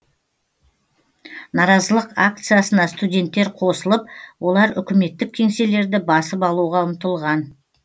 наразылық акциясына студенттер қосылып олар үкіметтік кеңселерді басып алуға ұмтылған